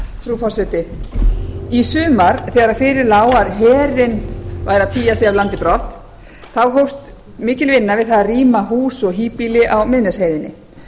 frú forseti í sumar þegar fyrir lá að herinn væri að tygja sig af landi brott hófst mikil vinna við það að rýma hús og híbýli á miðnesheiðinni